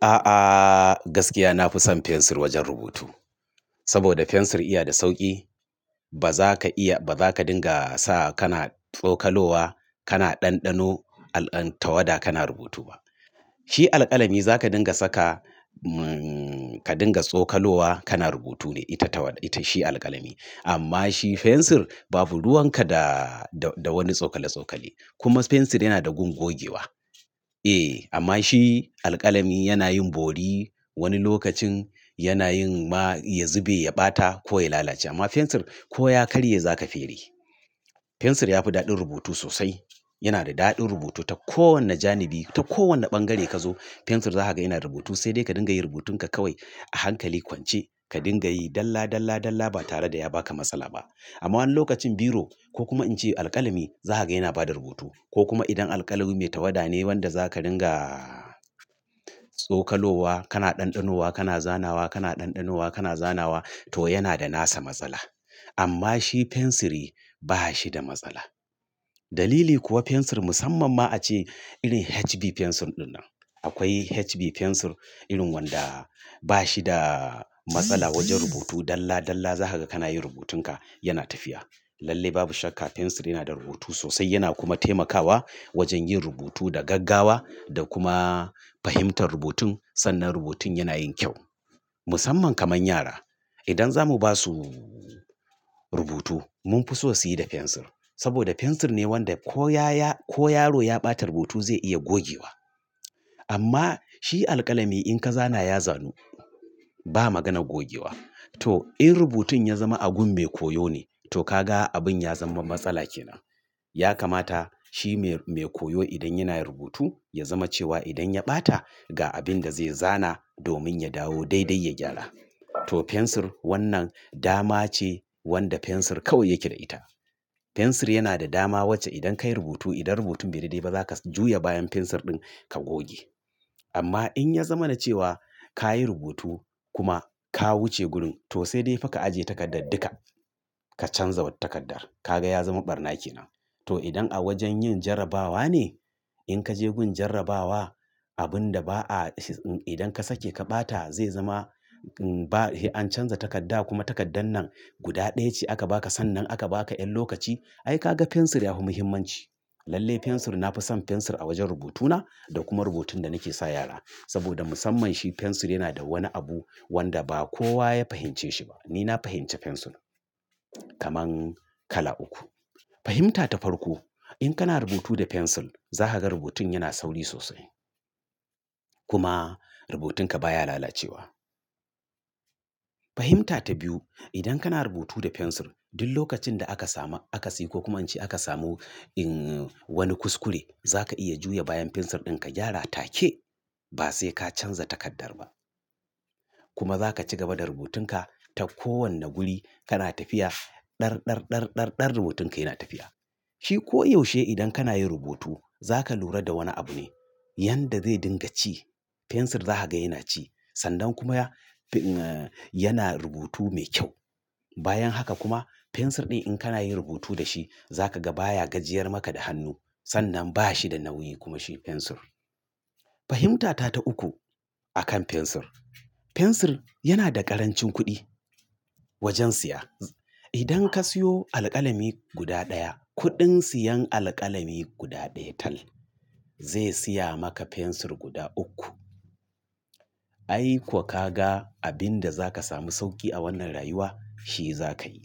A'a gaskiya nafi son fensir wajen rubutu saboda fensir iya da sauki. Ba za ka iya ba za ka dinga sa kana tsokalowa, kana ɗanɗano al an tawada kana rubutu ba. Shi alƙalami za ka dinga saka umm ka dinga tsokalowa kana rubutu ne ita tawada. Shi alƙalami amma shi fensir babu ruwanka da da wani tsokale-tsokale kuma fensir yana da gun gogewa. Eh amma shi alƙalami yana yin bori wani lokacin yana yin ma ya zube, ya ɓata ko ya lalace amma fensir ko ya karye za ka fere. Fensir ya fi daɗin rubutu sosai. Yana da daɗin rubutu ta kowane janibi, ta kowane bangare ka zo fensir za ka ga yana rubutu sai dai ka dinga yi rubutun ka kawai a hankali kwance ka dinga yi dalla, dalla, dalla ba tare da ya baka matsala ba. Amma wani lokacin biro ko kuma in ce alƙalami za ka ga yana bada rubutu ko kuma idan alƙalami mai tawada ne wanda za ka ringa tsokalowa kana ɗanɗanowa, kana zana wa, kana ɗanɗanowa, kana zana wa to yana da nasa matsala. Amma shi fensiri ba shi da matsala. Dalili kuwa fensir musamman ma ace irin HB fensir ɗinnan. Akwai HB fensir irin wanda ba shi da matsala wajen rubutu dalla, dalla za ka ga kana yin rubutun ka yana tafiya. Lalle babu shakka fensir yana da rubutu sosai yana kuma taimakawa wajen yin rubutu da gaggawa da kuma fahimtar rubutun sannan rubutun yana yin kyau. Musamman kaman yara idan zamu ba su rubutu mun fi so su yi da fensir saboda fensir ne wanda ko ya ya ko yaro ya ɓata rubutu zai iya gogewa amma shi alƙalami in ka zana ya zanu ba maganan gogewa. To in rubutun ya zama abun mai koyo ne to ka ga abun ya zama matsala kenan. Ya kamata shi mai koyo idan yana rubutu ya zama cewa idan ya ɓata ga abin da zai zana domin ya dawo daidai ya gyara. To fensir wannan dama ce wanda fensir kawai yake da ita. Fensir yana da dama wacce idan ka yi rubutu idan rubutun bai daidai ba za ka juya bayan fensir din ka goge. Amma in ya zama na cewa ka yi rubutu kuma ka wuce gurin to sai dai fa ka ajiye takardar duka ka canza wata takarda. Ka ga ya zama ɓarna kenan. To idan a wajen yin jarrabawa ne in ka je gun jarrabawa abun da ba a idan ka sake ka ɓata zai zama an canza takarda kuma takardar nan guda ɗaya ce aka baka sannan aka baka ƴan lokaci ai ka ga fensir ya fi muhimmanci. Lalle fensir na fi son fensir a wajen rubutu na da kuma rubutun da nake sa yara saboda musamman shi fensir yana da wani abu wanda ba kowa ya fahimce shi ba. Ni na fahimci fensir. Kaman kala uku. Fahimta ta farko. In kana rubutu da fensir za ka ga rubutun yana sauri sosai kuma rubutun ka baya lalacewa. Fahimta ta biyu. Idan kana rubutu da fensir duk lokacin da aka samu aka si ko kuma in ce aka samu in wani kuskure za ka iya juya bayan fensir din ka gyara take ba sai ka canza takardar ba. Kuma za ka ci gaba da rubutun ka ta kowane guri kana tafiya. Ɗar, ɗar, ɗar, ɗar, ɗar rubutun ka yana tafiya. Shi ko yaushe idan kana yin rubutu za ka lura da wani abu ne, yan da zai dinga ci fensir za ka ga yana ci sannan kuma ah yana rubutu mai kyau. Bayan haka kuma fensir din in kana yin rubutu da shi za ka ga baya gajiyar maka da hannu sannan ba shi da nauyi kuma shi fensir. Fahimta ta ta uku. A kan fensir. Fensir yana da ƙarancin kuɗi wajen siya. Idan ka siyo alƙalami guda daya kuɗin siyan alƙalami guda daya tal zai siya maka fensir guda uku. Ai kuwa ka ga abin da za ka sami sauki a wannan rayuwa shi za ka yi.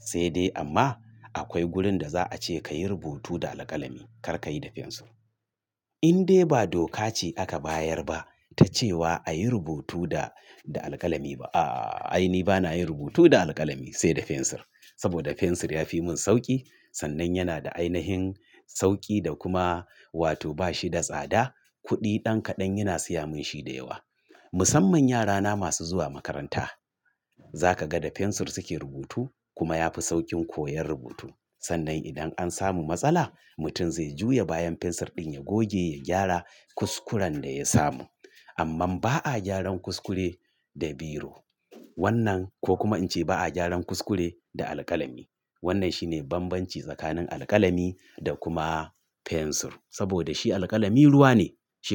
Sai dai amma akwai gurin da za a ce ka yi rubutu da alƙalami kar ka yi da fensir. Inde ba doka ce aka bayar ba ta cewa a yi rubutu da da alƙalami ba. A Ai ni bana yin rubutu da alƙalami sai da fensir saboda fensir ya fi mun sauki sannan yana da ainihin sauki da kuma wato ba shi da tsada. Kuɗi ɗan kaɗan yana siya mun shi da yawa. Musamman yarana masu zuwa makaranta. Za ka ga da fensir suke rubutu kuma ya fi sauƙin koyon rubutu sannan idan an samu matsala mutum zai juya bayan fensir din ya goge, ya gyara kuskuren da ya samu. Amman ba a gyaran kuskure da biro. Wannan ko kuma in ce ba a gyaran kuskure da alƙalami. Wannan shine banbanci tsakanin alƙalami da kuma fensir saboda shi alƙalami ruwa ne shi ku.